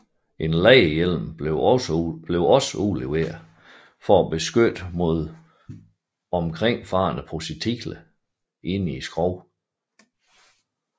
En læderhjelm blev også udleveret for at beskytte mod omkringfarende projektiler inde i skroget